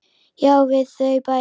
Já, við þau bæði.